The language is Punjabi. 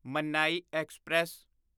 ਮਨਾਈ ਐਕਸਪ੍ਰੈਸ